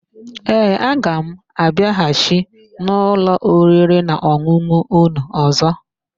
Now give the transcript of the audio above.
Ee, aga m abịaghachi n'ụlọ oririnaọn̄ụn̄ụ ụnụ ọ̀zọ́.